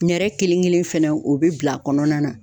Nɛrɛ kelen kelen fɛnɛ o bɛ bila kɔnɔna na.